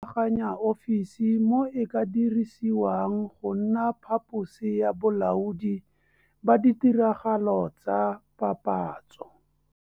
Rulaganya ofisi mo e ka dirisiwang go nna phaposi ya bolaodi ba ditiragalo tsa papatso.